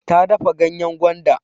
Ta dafa ganyen gwanda.